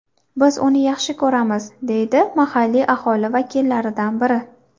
Biz uni yaxshi ko‘ramiz”, deydi mahalliy aholi vakillaridan biri.